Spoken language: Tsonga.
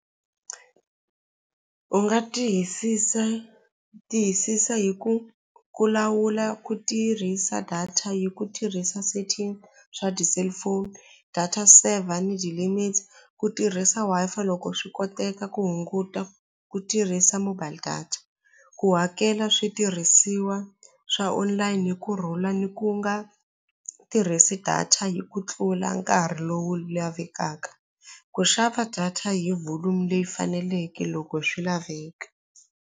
U nga tiyisisa tiyisisa hi ku ku lawula ku tirhisa data hi ku tirhisa setting swa cellphone data saver ni limits ku tirhisa Wi-Fi loko swi koteka ku hunguta ku tirhisa mobile data ku hakela switirhisiwa swa online hi kurhula ni ku nga tirhisi data hi ku tlula nkarhi lowu lavekaka ku xava data hi volume leyi faneleke loko swi laveka.